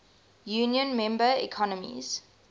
union member economies